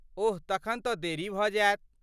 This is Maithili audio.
ओह तखन तँ देरी भऽ जायत।